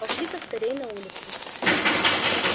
пошли-ка скорей на улицу